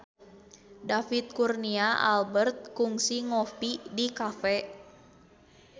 David Kurnia Albert kungsi ngopi di cafe